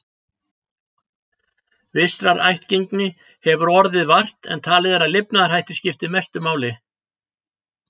Vissrar ættgengi hefur orðið vart, en talið er að lifnaðarhættir skipti mestu máli.